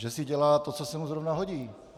Že si dělá to, co se mu zrovna hodí.